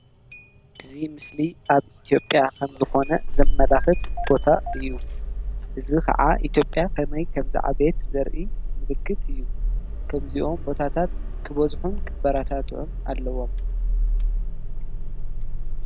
እዚ ምስሊ ኣብ ኢትዮጲያ ከምዝኮነ ዘመላክት ቦታ እዩ ። እዚ ከዓ ከመይ ከምዝዓበየት ዘርኢ ምልክት እዩ። ከምዚኦም ቦታታት ክበዝሑን ክበረታትዑን ኣለዎም።